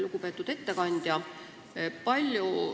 Lugupeetud ettekandja!